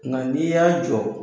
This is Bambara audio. Nga n'i y'a jɔ